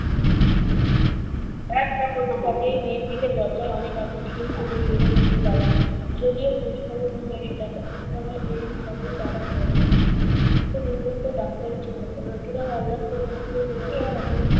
কাজেই মেয়ের দিকে দরজায় অনেক আগে খিল তুলে দিয়েছে ইন্দুবালা। যদিও খোঁজখবর নেয়, এসে দেখাশোনা করে। এসবই তারা করেছে। কিন্তু নিয়মিত ডাক্তারি checkup নাতিরাও আল্লাদ করে মাকে নিয়ে এসে যখন